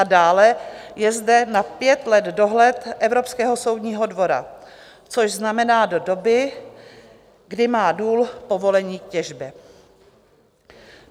A dále, je zde na pět let dohled Evropského soudního dvora, což znamená do doby, kdy má důl povolení k těžbě.